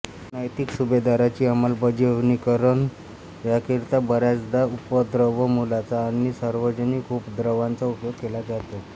नैतिक सुभेदारीची अमलबजावणीकरण्याकरिता बऱ्याचदा उपद्रव मुल्याचा आणि सार्वजनिक उपद्रवाचा उपयोग केला जातो